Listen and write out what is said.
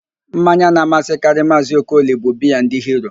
Mmanya na-amasịkarị Maazị Okoli bụ biaa ndị Hiro